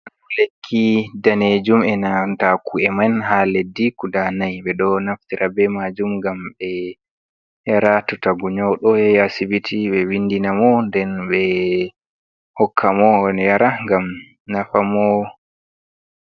Lekki danejum enanta ku, e man ha leddi guda nay. Ɓeɗo naftira be majum ngam ɓe yara to tagu nyaudo, yahi asibiti be vindina mo nden ɓe hokka mo o yara ngam nafamo.